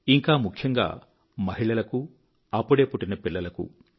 ఇంకా ముఖ్యంగా మహిళలకు అప్పుడే పుట్టిన పిల్లలకు